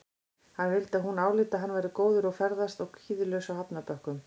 Hann vildi að hún áliti að hann væri góður að ferðast og kvíðalaus á hafnarbökkum.